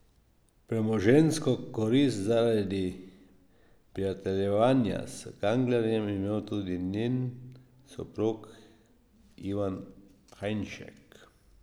Premoženjsko korist zaradi prijateljevanja s Kanglerjem je imel tudi njen soprog Ivan Hajnšek.